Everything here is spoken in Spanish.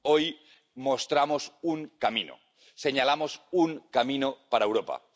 Hoy mostramos un camino, señalamos un camino para Europa.